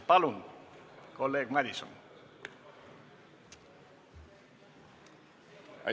Palun, kolleeg Madison!